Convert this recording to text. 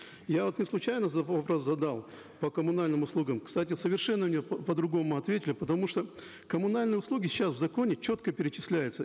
я вот неслучайно вопрос задал по коммунальным услугам кстати совершенно мне по другому ответили потому что коммунальные услуги сейчас в законе четко перечисляются